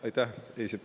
Aitäh!